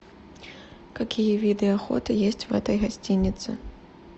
какие виды охоты есть в этой гостинице